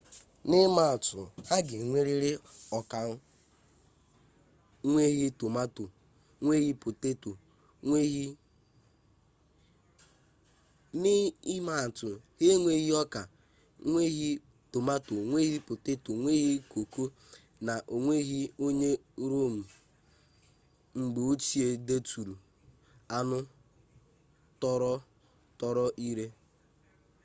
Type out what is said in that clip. na imaatu ha enweghi oka nweghi tomato nweghi poteto nweghi koko na onweghi onye rome mgbeochie deturu anu toro-toro ire